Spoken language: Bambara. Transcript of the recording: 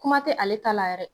Kuma tɛ ale ta la yɛrɛ.